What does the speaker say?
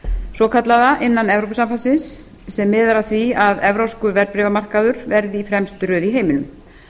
svokallaða innan evrópusambandsins sem miðar að því að evrópskur verðbréfamarkaður verði í fremstu röð í heiminum